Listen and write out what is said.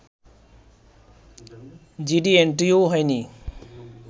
GD এন্ট্রিও হয়নি